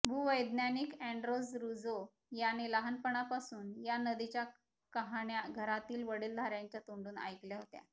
भूवैज्ञानिक Andres Ruzo याने लहानपणापासून या नदीच्या कहाण्या घरातील वडीलधार्यांच्या तोंडून ऐकल्या होत्या